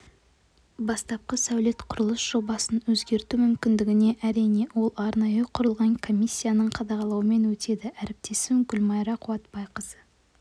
бастапқы сәулет-құрылыс жобасын өзгерту мүмкіндігі әрине ол арнайы құрылған комиссияның қадағалауымен өтеді әріптесім гүлмайра қуатбайқызы